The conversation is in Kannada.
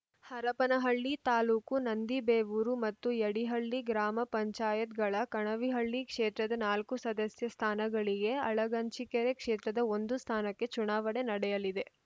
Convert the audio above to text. ಹರಪನಹಳ್ಳಿ ತಾಲೂಕು ನಂದಿಬೇವೂರು ಮತ್ತು ಯಡಿಹಳ್ಳಿ ಗ್ರಾಮ ಪಂಚಾಯತ್ ಗಳ ಕಣವಿಹಳ್ಳಿ ಕ್ಷೇತ್ರದ ನಾಲ್ಕು ಸದಸ್ಯ ಸ್ಥಾನಗಳಿಗೆ ಅಳಗಂಚಿಕೆರೆ ಕ್ಷೇತ್ರದ ಒಂದು ಸ್ಥಾನಕ್ಕೆ ಚುನಾವಣೆ ನಡೆಯಲಿದೆ